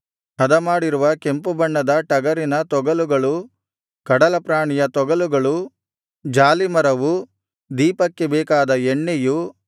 ಹದಮಾಡಿರುವ ಕೆಂಪುಬಣ್ಣದ ಟಗರಿನ ತೊಗಲುಗಳು ಕಡಲಪ್ರಾಣಿಯ ತೊಗಲುಗಳು ಜಾಲೀಮರವು ದೀಪಕ್ಕೆ ಬೇಕಾದ ಎಣ್ಣೆಯು